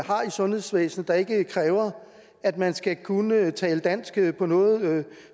sundhedsvæsenet der ikke kræver at man skal kunne tale dansk på noget